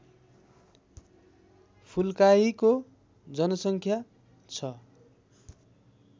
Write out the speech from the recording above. फुल्काहीको जनसङ्ख्या छ